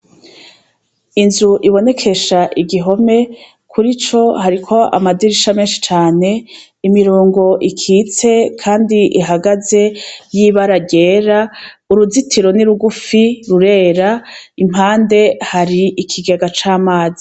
Inzu ibonekesha igihome, kurico hariko amadirisha menshi cane imirongo ikitse Kandi ihagaze y'ibara ryera, uruzitiro ni rugufi rurera, impande hari ikigega c'amazi.